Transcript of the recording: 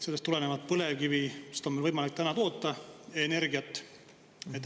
Sellest tulenevalt, et põlevkivist on meil võimalik täna energiat toota.